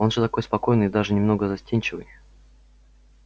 он же такой спокойный и даже немного застенчивый